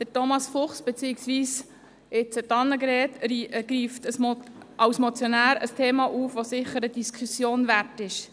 Thomas Fuchs beziehungsweise jetzt Annegret Hebeisen, greift mit der Motion ein Thema auf, das sicher eine Diskussion wert ist.